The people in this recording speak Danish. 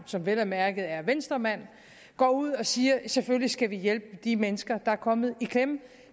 som vel at mærke er venstremand gå ud og sige at vi selvfølgelig skal hjælpe de mennesker der er kommet i klemme